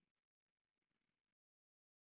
.